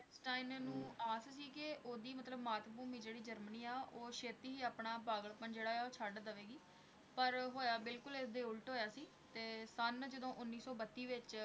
Einstein ਨੂੰ ਆਸ ਸੀ ਕਿ ਉਹਦੀ ਮਤਲਬ ਮਾਤ-ਭੂਮੀ ਜਿਹੜੀ ਜਰਮਨੀ ਆ, ਉਹ ਛੇਤੀ ਹੀ ਆਪਣਾ ਪਾਗਲਪਣ ਜਿਹੜਾ ਆ ਉਹ ਛੱਡ ਦੇਵੇਗੀ, ਪਰ ਹੋਇਆ ਬਿਲਕੁਲ ਇਸ ਦੇ ਉਲਟ ਹੋਇਆ ਸੀ ਤੇ ਸੰਨ ਜਦੋਂ ਉੱਨੀ ਸੌ ਬੱਤੀ ਵਿੱਚ